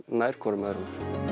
nær hvorum öðrum